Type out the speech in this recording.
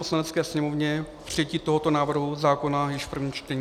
Poslanecké sněmovně přijetí tohoto návrhu zákona již v prvním čtení.